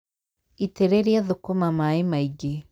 Itĩrĩria thũkũma maaĩ maĩngĩ